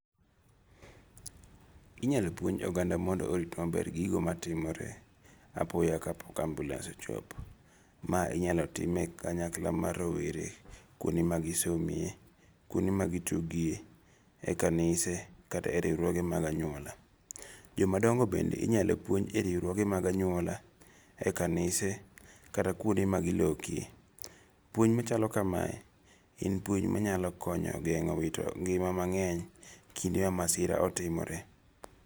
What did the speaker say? Inyalo puonj oganda mondo orit maber gigo matimore apoya kapok ambiulens ochopo. Ma inyalo tim e kanyakla mar rowere kuonde ma gisome, kuonde ma gituge, e kanise kata e riwruoge mag anyuola. Joma dongo bende inyalo puonj e riwruoge mag anyuola, ekanise kata kuonde ma gilokie. Puonj machalo kamae gin puonj manyalo konyo geng'o wito ngima mang'eny kinde ma masira otimore.